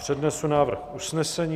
přednesu návrh usnesení.